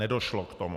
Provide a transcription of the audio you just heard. Nedošlo k tomu.